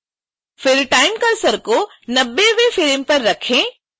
फिर time cursor को 90